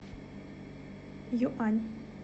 юань